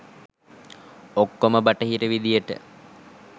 ඔක්කොම බටහිර විදියට.